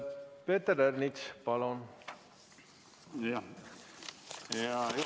Peeter Ernits, palun!